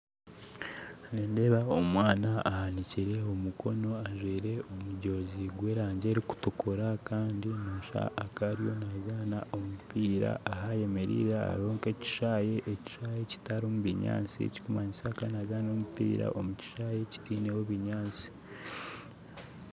Nindeeba omwana ahanikire omukono ajwaire omujozi gwa erangi erikutukura kandi noshusha akaba ari nazaana omupiira ahayemeriire hariho nka ekishaahe ekishaahe kitarimu binyaatsi ekikumanyisa akaba nazaana omupiira omu kishaahe kitaineho binyaatsi